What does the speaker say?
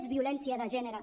és violència de gènere